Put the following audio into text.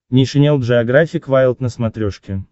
нейшенел джеографик вайлд на смотрешке